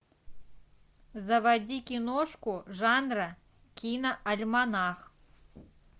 заводи киношку жанра киноальманах